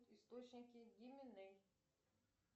источники гименей